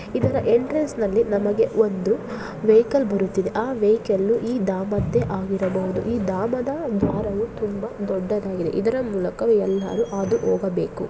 ಇದರ ಎಂಟ್ರೆನ್ಸನಲ್ಲಿ ನಮಗೆ ಒಂದು ವೆಹಿಕಲ್ ಬರುತ್ತಿದೆ ಆ ವೆಹಿಕಲ್ ಈ ದಾಮರ್ದೆ ಆಗಿರಬಹುದು ಈ ದಾಮದ ದ್ವಾರವೂ ತುಂಬಾ ದೊಡ್ಡದಾಗಿದೆ. ಇದರ ಮೂಲಕ ಎಲ್ಲರೂ ಹಾದು ಹೋಗಬೇಕು.